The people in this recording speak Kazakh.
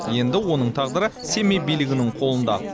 енді оның тағдыры семей билігінің қолында